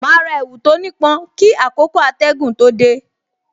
Ma ra èwù tó ní pọn kí àkókò atẹgun tó dé